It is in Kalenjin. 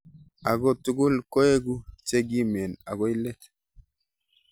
Ako tugul koeku chekimen akoi let.